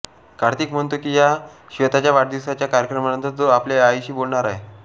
कार्तिक म्हणतो की श्वेताच्या वाढदिवसाच्या कार्यक्रमानंतर तो आपल्या आईशी बोलणार आहे